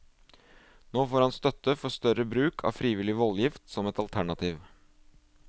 Nå får han støtte for større bruk av frivillig voldgift som et alternativ.